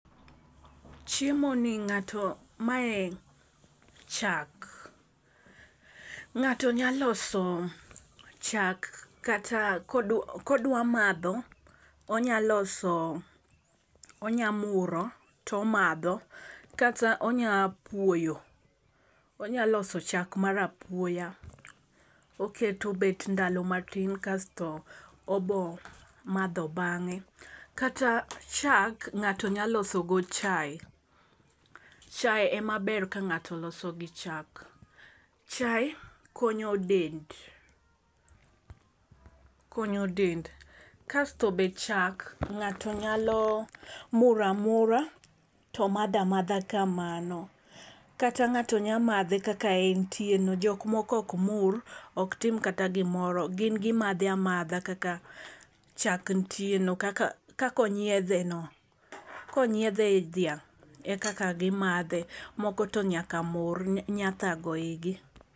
Chiemo ni ng'ato mae chak. Ng'ato nya loso chak kata kod kodwa madho onya loso onya muro tomadho kata, onya puoyo onya loso chak mar apuoya. Oketo obet ndalo matin kasto obo madho bang'e . Kata chak ng'ato nya loso go chaye chaye emaber ka ngato loso gi chak chaye konyo dend, konyo dend kasto be chak ng'ato nyalo muramura to madha madha kamano kata, ng'ato nya madhe amadha kaka entie no jok moro ok mur ok tim kata gimoro gin gimadhe amadha kaka chak ntie no. Kaka onyiedhe no konyiedhe dhiang' ekaka gimadhe moko to nyaka mur nya kago igi.